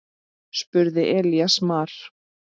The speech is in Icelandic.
spurði Elías Mar.